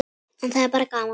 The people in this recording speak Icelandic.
En það er bara gaman.